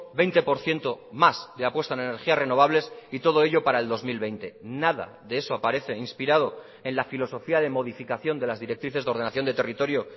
veinte por ciento más de apuesta en energías renovables y todo ello para el dos mil veinte nada de eso aparece inspirado en la filosofía de modificación de las directrices de ordenación de territorio